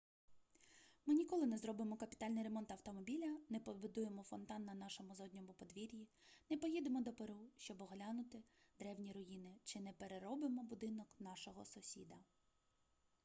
ми ніколи не зробимо капітальний ремонт автомобіля не побудуємо фонтан на нашому задньому подвір'ї не поїдемо до перу щоби оглянути древні руїни чи не переробимо будинок нашого сусіда